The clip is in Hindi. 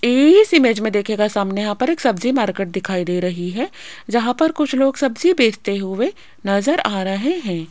इस इमेज में दिखेगा सामने यहां पर एक सब्जी मार्केट दिखाई दे रही है जहां पर कुछ लोग सब्जी बेचते हुए नजर आ रहे हैं।